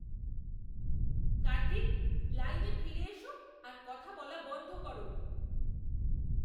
কার্তিক! লাইনে ফিরে এসো আর কথা বলা বন্ধ করো।